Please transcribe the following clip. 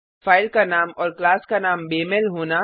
file का नाम और क्लास का नाम बेमेल होना